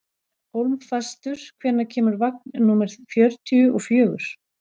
Hólmfastur, hvenær kemur vagn númer fjörutíu og fjögur?